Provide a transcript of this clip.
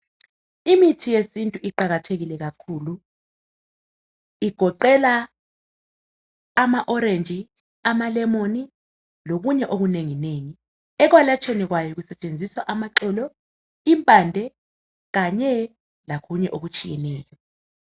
Imithi yesintu iqakathekile kakhulu igoqela amaorange amalemon lokunye okunengi ngu ekwelatshweni kwayo kusetshenziswa amaxolo impande kanye lokunye okutshiyeneyo